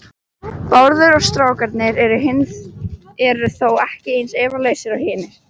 Bárður og strákurinn eru þó ekki eins efalausir og hinir.